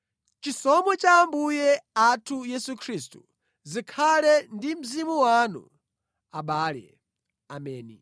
Chisomo cha Ambuye athu Yesu Khristu zikhale ndi mzimu wanu abale. Ameni.